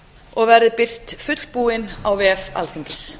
og verði birt fullbúin á vef alþingis